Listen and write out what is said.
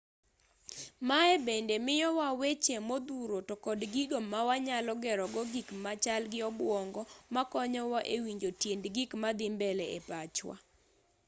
maye bende miyowa weche modhuro to kod gigo mawanyalo gero go gik machal gi obwongo makonyowa e winjo tiend gik madhi mbele e pachwa